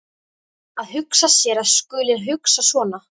Að hugsa sér að ég skuli hugsa svona!